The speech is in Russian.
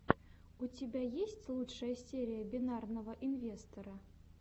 у тебя есть лучшая серия бинарного инвестора